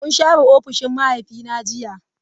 Mun share ofishin mahaifina jiya.